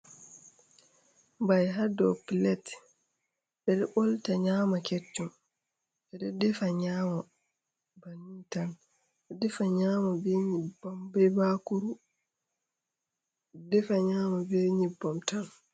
Mbai hado pilet ɓeɗo ɓolta nyama keccum, ɓeɗo defa nyama banintan, defa nyebbam be bakuru, defa nyama be nyebbam tan.